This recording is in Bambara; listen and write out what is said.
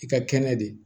I ka kɛnɛ de